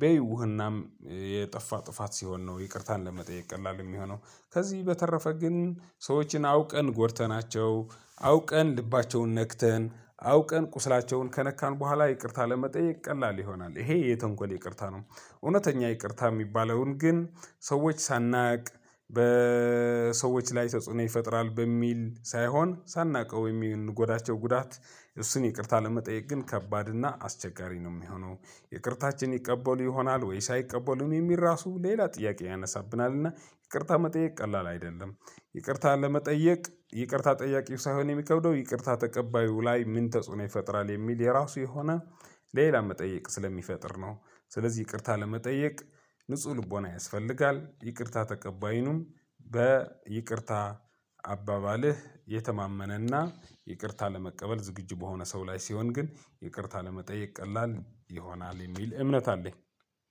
በይውህናም የጠፋ ጥፋት ሲሆን ነው ይቅርታን ለመጠየቅ ቀላል የሚሆነው። ከዚህ በተረፈ ግን ሰዎችን አውቀን ጎድተናቸው አውቀን ልባቸውን ነክተን አውቀን ቁስላቸውን ከነካን በኋላ ይቅርታ ለመጠየቅ ቀላል ይሆናል። ይሄ የተንኮል ይቅርታ ነው። እውነተኛ ይቅርታ የሚባለውን ግን ሰዎች ሳናውቅ በሰዎች ላይ ተጽዕኖ ይፈጥራል በሚል ሳይሆን ሳናውቀው የምንጎዳቸው ጉዳት እሱን ይቅርታ ለመጠየቅ ግን ከባድና አስቸጋሪ ነው የሚሆነው። ይቅርታችን ይቀበሉ ይሆናል ወይስ አይቀበሉም የሚል ራሱ ሌላ ጥያቄ ያነሳብናል። እና ይቅርታ መጠየቅ ቀላል አይደለም። ይቅርታን ለመጠየቅ ይቅርታ ጠያቂው ሳይሆን የሚከብደው ይቅርታ ተቀባዩ ላይ ምን ተጽዕኖ ይፈጥራል የሚል የራሱ የሆነ ሌላ መጠይቅ ስለሚፈጥር ነው። ስለዚህ ይቅርታ ለመጠየቅ ንጹህ ልቦና ያስፈልጋል። ይቅርታ ተቀባይንም በይቅርታ አባባልህ የተማመነ እና ይቅርታ ለመቀበል ዝግጁ የሆነ ሰው ላይ ሲሆን ግን ይቅርታ ለመጠየቅ ቀላል ይሆናል የሚል እምነት አለኝ።